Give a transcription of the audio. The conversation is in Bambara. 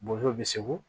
Bozow bi segu